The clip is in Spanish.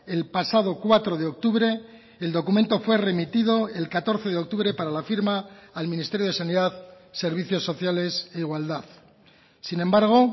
el pasado cuatro de octubre el documento fue remitido el catorce de octubre para la firma al ministerio de sanidad servicios sociales e igualdad sin embargo